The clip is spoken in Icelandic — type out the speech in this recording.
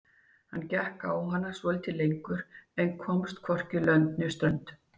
Hann gekk á hana svolítið lengur en komst hvorki lönd né strönd.